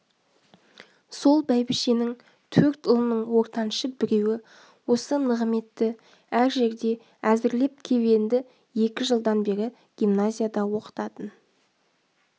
сол бәйбішенің төрт ұлының ортаншы біреуі осы нығыметті әр жерде әзірлеп кеп енді екі жылдан бері гимназияда оқытатын